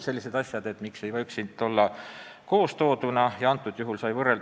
Miks ei võiks need muudatused olla kokku koondatud?